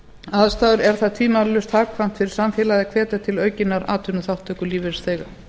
aðstæður er það tvímælalaust hagkvæmt fyrir samfélagið að hvetja til aukinnar atvinnuþátttöku lífeyrisþega